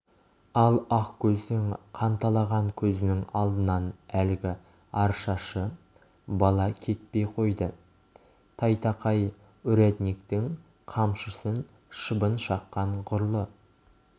ал ақкөздің қанталаған көзінің алдынан әлгі арашашы бала кетпей қойды тайтақай урядниктің қамшысын шыбын шаққан ғұрлы